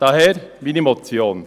Daher meine Motion.